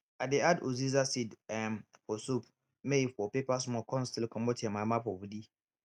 i dey add uziza seed um for soup may e for pepper small con still comot yanmayanma for body